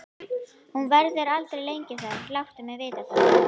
Hún verður aldrei lengi þar, láttu mig vita það.